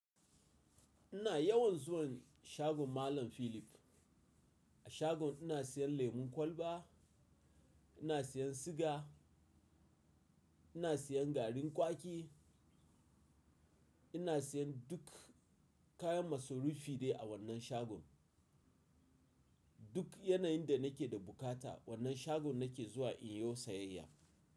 Ina yawan zuwa shagon Malam Philip. A shagon ina siyan lemon kwalba, ina siyan siga, ina siyan garin kwaki, ina siyan duk kayan masarufi ne a wannan shagon. Duk yanayin da nake da bukata wannan shagon nake zuwa inyiwo sayayya.